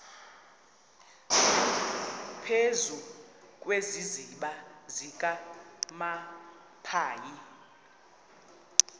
phezu kwesiziba sikanophoyi